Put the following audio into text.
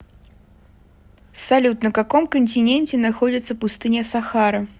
салют на каком континенте находится пустыня сахара